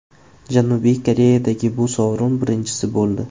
Janubiy Koreyadagi bu sovrin birinchisi bo‘ldi.